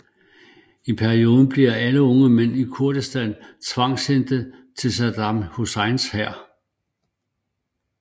I perioden bliver alle unge mænd i Kurdistan tvangshentet til Saddam Husseins hær